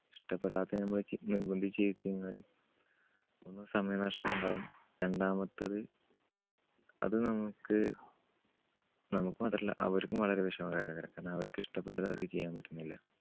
ഇഷ്ടപ്പെടാത്തത് നമ്മൾ ചെ നിർബന്ധിച്ച് ചെയ്യിക്കുമ്പോള് ഒന്ന് സമയനഷ്ടം ഉണ്ടാവും. രണ്ടാമത്തത് അത് നമ്മുക്ക് നമ്മുക്ക് മാത്രല്ല അവർക്കും വളരെ വിഷമകര~കര. കാരണം അവർക്ക് ഇഷ്ടപ്പെട്ടത് അവർക്ക് ചെയ്യാൻ പറ്റുന്നില്ല.